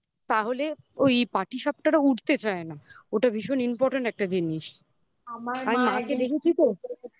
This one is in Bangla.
তাহলে ওই পাটিসাপটা উড়তে চায় না ওটা ভীষণ important একটা জিনিস আমার মাকে দেখেছো তো